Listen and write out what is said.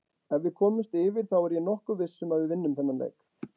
Ef við komumst yfir þá er ég nokkuð viss um að við vinnum þennan leik.